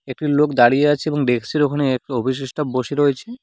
একটি লোক দাঁড়িয়ে আছে এবং ডেক্সের ওখানে একটা অফিসের স্টাফ বসে রয়েছে।